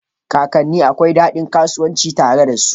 Kakanne akwai daɗin kasancewa tare da su.